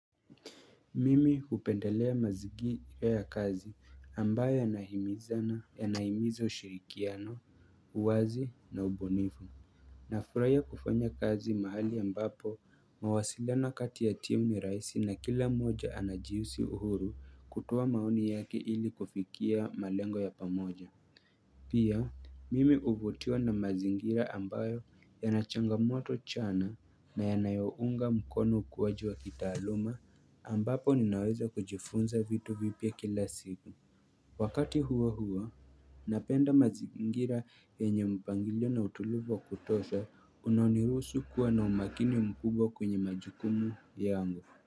Mimi upendelea mazigi ya kazi ambayo yanahimiza na ya naimizo ushirikiano, uwazi na ubunifu. Na furahia kufanya kazi mahali ambapo mawasiliano kati ya timu ni raisi na kila moja anajiisi uhuru kutoa maoni yake ili kufikia malengo ya pamoja. Pia, mimi uvutiwa na mazingira ambayo ya nachanga moto chana na ya nayounga mkono ukuwaji wa kitaaluma ambapo ninaweza kujifunza vitu vipya kila siku. Wakati huo huo, napenda mazingira yenye mpangilio na utulivu wa kutosha unanirusu kuwa na umakini mkubwa kwenye majukumu yangu.